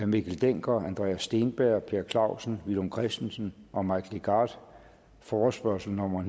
mikkel dencker andreas steenberg per clausen villum christensen og mike legarth forespørgsel nummer